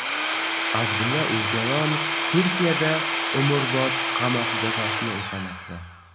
Abdulla O‘jolan Turkiyada umrbod qamoq jazosini o‘tamoqda.